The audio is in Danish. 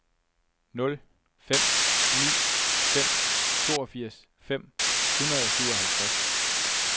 nul fem ni fem toogfirs fem hundrede og syvoghalvtreds